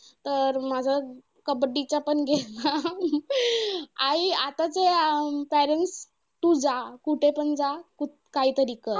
तर माझं कबड्डीचा पण game ना आई आताचे parents तू जा. कुठेपण जा काहीतरी करा.